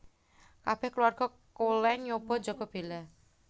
Kabèh kulawarga Cullen nyoba njaga Bella